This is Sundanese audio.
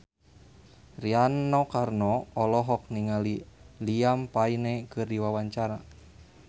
Rano Karno olohok ningali Liam Payne keur diwawancara